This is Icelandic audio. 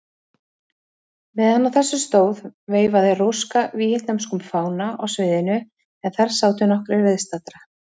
Meðan á þessu stóð veifaði Róska víetnömskum fána á sviðinu, en þar sátu nokkrir viðstaddra.